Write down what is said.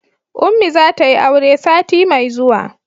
ummi za ta yi aure sati mai zuwa